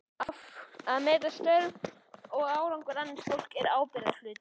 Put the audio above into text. Að meta störf og árangur annars fólks er ábyrgðarhluti.